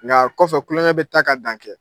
Ŋa kɔfɛ kulɔŋɛ bɛ taa ka dan kɛ.